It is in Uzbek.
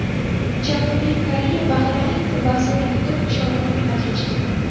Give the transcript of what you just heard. Janubiy Koreya Bahraynni bazo‘r yutib, chorak finalga chiqdi .